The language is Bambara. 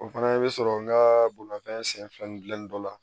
O fana i bɛ sɔrɔ n ka bolimanfɛn sen fila ni dilanni dɔ la